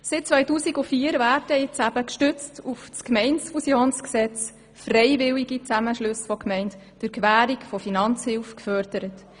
Gestützt auf das Gemeindefusionsgesetz werden daher seit 2004 freiwillige Zusammenschlüsse von Gemeinden mittels Finanzhilfe gefördert.